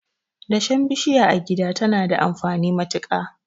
Dashen bishiya a gida tana da amfani matuka.